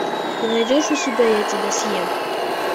ты найдешь у себя я тебя съем